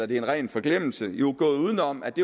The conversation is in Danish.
det er en ren forglemmelse gået uden om at det